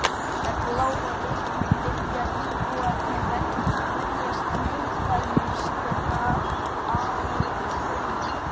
Með bláa litnum vilja íbúarnir verjast neikvæðum straumum.